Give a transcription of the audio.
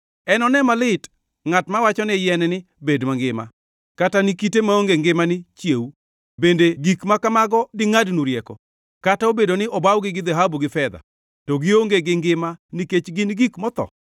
Enone malit ngʼat mawachone yien ni, ‘Bed mangima!’ Kata ni kite maonge ngima ni, ‘Chiew!’ Bende gik ma kamago dingʼadnu rieko? Kata obedo ni obawgi gi dhahabu gi fedha; to gionge gi ngima nikech gin gik motho.”